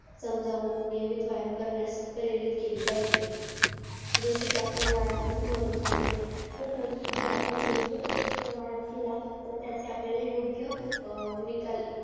समजावून नियमित व्यायाम करण्यास प्रेरित केली पाहिजेल जसे कि आपण व्यायामाचे महत्व सांगितले तसंच जर आपण योग्य पद्धतीने व्यायाम केला त्याचे आपल्याला योग्य निकाल